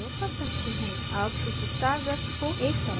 अब इस star वृत्त को एक तरफ रखते हैं